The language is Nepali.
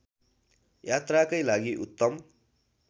यात्राकै लागि उत्तम